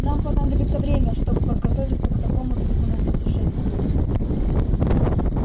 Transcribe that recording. нам понадобится время чтобы подготовиться к такому трудному путешествию